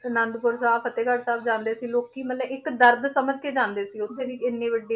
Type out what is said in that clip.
ਅਨੰਦਪੁਰ ਸਾਹਿਬ ਫਤਿਹਗੜ੍ਹ ਸਾਹਿਬ ਜਾਂਦੇ ਸੀ ਲੋਕੀ ਮਤਲਬ ਇੱਕ ਦਰਦ ਸਮਝ ਕੇ ਜਾਂਦੇ ਸੀ ਉੱਥੇ ਵੀ ਇੰਨੀ ਵੱਡੀ,